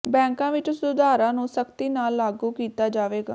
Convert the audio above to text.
ਬੈਂਕਾਂ ਵਿੱਚ ਸੁਧਾਰਾਂ ਨੂੰ ਸਖ਼ਤੀ ਨਾਲ ਲਾਗੂ ਕੀਤਾ ਜਾਵੇਗਾ